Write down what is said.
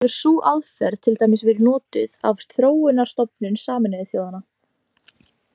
Hefur sú aðferð til dæmis verið notuð af Þróunarstofnun Sameinuðu þjóðanna.